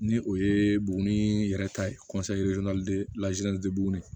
Ni o ye buguni yɛrɛ ta ye buguni